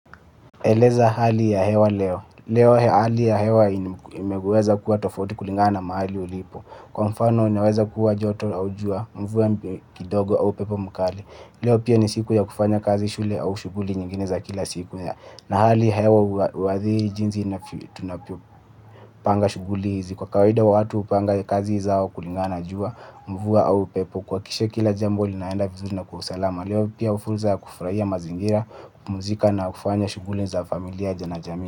Eleza hali ya hewa leo, leo hali ya hewa inaweza kuwa tofauti na mahali ulipo kwa mfano inaweza kuwa joto au jua mvua kidogo au upepo mkali leo pia ni siku ya kufanya kazi shule au shughuli nyingine ya kila siku hali ya hewa huathiri jinsi tunavyopanga shughuli hizi kwa kawaida watu kupanga kazi zao kulingana na jua, mvua au upepo. Kuhakikisha kila jambo linaenda vizuri na kwa salama Malewo pia fursa ya kufurahia mazingira, kupumzika na kufanya shughuli za familia na jamii.